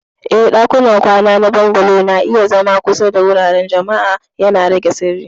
Eh, ɗakunan kwana na Bungalow na iya zama kusa da wuraren jama'a, yana rage sirri.